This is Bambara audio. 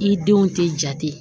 I denw tɛ jate